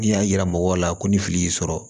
N'i y'a yira mɔgɔw la ko ni fili y'i sɔrɔ